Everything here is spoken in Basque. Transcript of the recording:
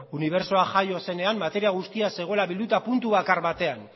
unibertsoa jaio zenean materia guztia zegoela bilduta puntu bakar batean